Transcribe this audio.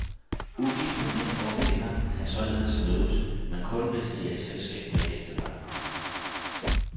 Ugifte mænd og kvinder kan således mødes, men kun hvis de er i selskab med et ægtepar.